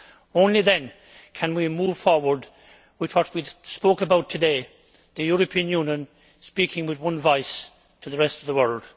Only then can we move forward with what we spoke about today, the European Union speaking with one voice to the rest of the world.